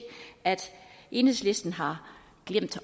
at enhedslisten har glemt